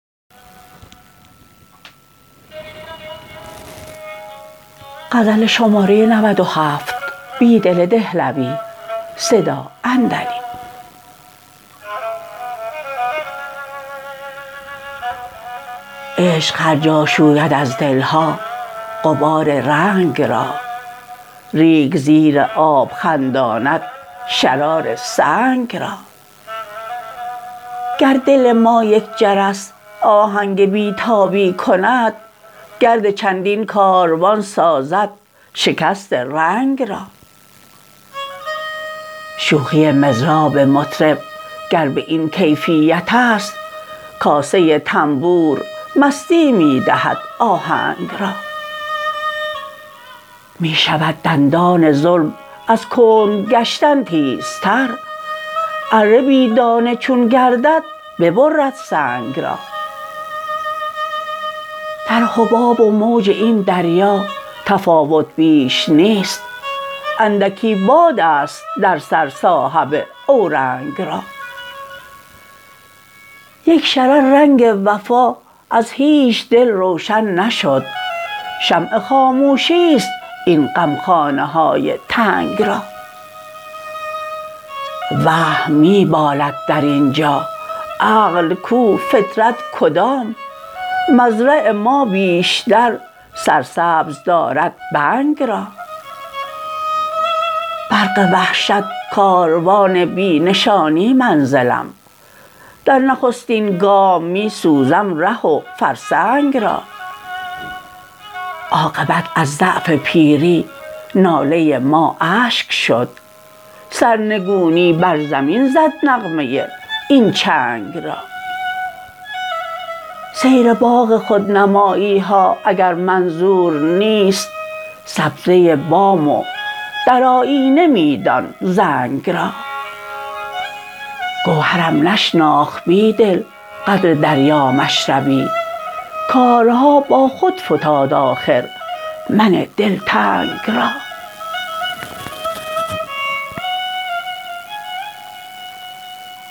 عشق هرجا شوید از دل ها غبار رنگ را ریگ زیر آب خنداند شرار سنگ را گر دل ما یک جرس آهنگ بی تابی کند گرد چندین کاروان سازد شکست رنگ را شوخی مضراب مطرب گر به این کیفیت است کاسه تنبور مستی می دهد آهنگ را می شود دندان ظلم از کند گشتن تیزتر اره بی دندانه چون گردد ببرد سنگ را در حباب و موج این دریا تفاوت بیش نیست اندکی باد است در سر صاحب اورنگ را یک شرر رنگ وفا از هیچ دل روشن نشد شمع خاموشی ست این غمخانه های تنگ را وهم می بالد در اینجا عقل کو فطرت کدام مزرع ما بیشتر سرسبز دارد بنگ را برق وحشت کاروان بی نشانی منزلم در نخستین گام می سوزم ره و فرسنگ را عاقبت از ضعف پیری ناله ما اشک شد سرنگونی بر زمین زد نغمه این چنگ را سیر باغ خودنمایی ها اگر منظور نیست سبزه بام و در آیینه می دان زنگ را گوهرم نشناخت بیدل قدر دریا مشربی کارها با خود فتاد آخر من دلتنگ را